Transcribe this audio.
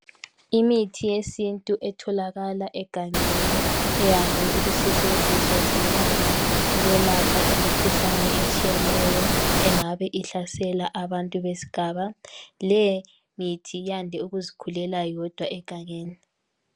Imithi yesintu etholakala egangeni eyande ukusetshenziswa zinyanga ukwelapha imikhuhlane etshiyeneyo engabe ihlasela abantu besigaba, leyi mithi yande ukuzikhulela yodwa egangeni.